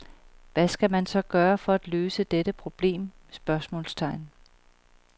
Hvad skal man så gøre for at løse dette problem? spørgsmålstegn